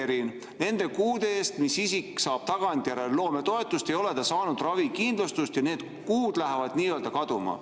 ] nende kuude eest, mis isik saab tagantjärele loometoetuse, ei ole ta saanud ravikindlustust ja need kuud lähevad nö kaduma.